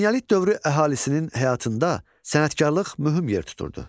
Eneolit dövrü əhalisinin həyatında sənətkarlıq mühüm yer tuturdu.